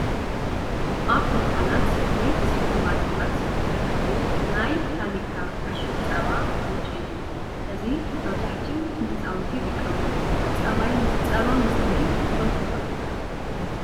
ኣበ ድኳናት ወይ ስፖርማርኬታት ዝርከቡ ናይ ታኒካ ዕሽግ ፀባ ሑሩጭ እዩ። እዚ መብዛሕቲኡ ንህፃውቲ ይጥቀምሉ? ፀባይ ምስታይ ትፈትው ዶ ?